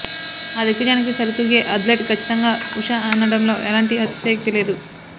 ఆ దిగ్గజానికి సరితూగే అథ్లెట్ కచ్చితంగా ఉష అనడంలో ఎలాంటి అతిశయోక్తి లేదు